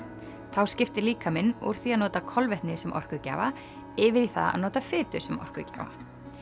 þá skiptir líkaminn úr því að nota kolvetni sem orkugjafa yfir í að nota fitu sem orkugjafa